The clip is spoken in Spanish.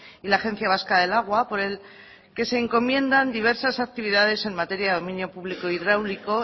y la agencia vasca del agua por el que se encomiendo diversas actividades en materia de dominio público hidráulico